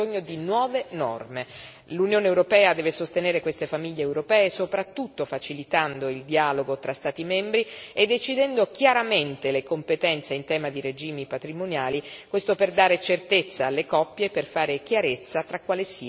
L'Unione europea deve sostenere queste famiglie europee, soprattutto facilitando il dialogo tra Stati membri e decidendo chiaramente le competenze in tema di regimi patrimoniali, questo per dare certezza alle coppie, per fare chiarezza su quale sia il giudice competente.